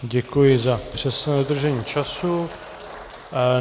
Děkuji za přesné dodržení času.